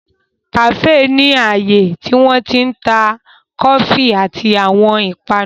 Kàféè ni ààyè tí wọ́n ti ń ta kọfí àti àwọn ìpanu.